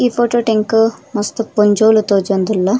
ಈ ಫೋಟೋಟು ಎಂಕ್ ಮಸ್ತ್ ಪೊಂಜೋವುಲು ತೋಜೊಂದುಲ್ಲ.